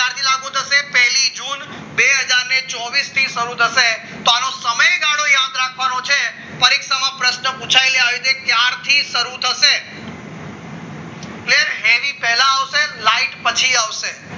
બે હજાર ચોવીસ થી શરૂ થશે તો આનો સમયગાળો યાદ રાખવાનો છે પરીક્ષામાં પ્રશ્ન પુછાયેલા આવી રીતે ક્યારથી શરૂ થશે એની પહેલા આવશે પછી લાઈટ પછી આવશે